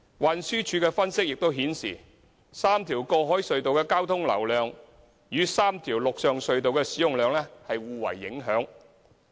運輸署的分析亦顯示 ，3 條過海隧道的交通流量與3條陸上隧道的使用量互為影響。